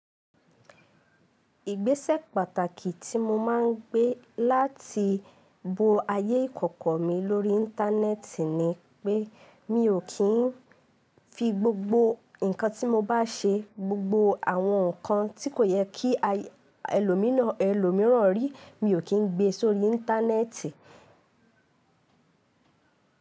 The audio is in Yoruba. Ìgbésẹ̀ pàtàkì tí mo máa ń gbé láti bo ayé ìkọ̀kọ̀ mi lórí íńtánẹ́ẹ̀tì ni pé mi ò kín fi gbogbo nǹkan tí mo bá ṣe, gbogbo àwọn nǹkan tí kò yẹ kí ẹlòmíràn rí, mi ò kín gbé sórí íńtánẹ́ẹ̀tì.